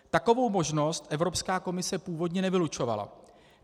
Takovou možnost Evropská komise původně nevylučovala.